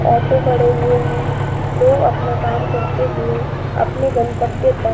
Auto खड़े हुए हैं। लोग अपना काम करते हुए अपने गंतव्य तक --